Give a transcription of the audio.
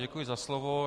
Děkuji za slovo.